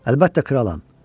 Əlbəttə kralam.